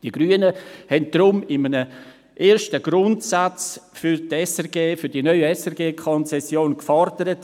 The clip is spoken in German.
» Die Grünen haben deshalb in einem ersten Grundsatz für die neue SRG-Konzession gefordert: